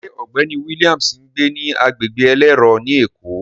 Ṣé ọ̀gbẹ́ni Williams ń gbé ní agbègbè elérò ni Èkó?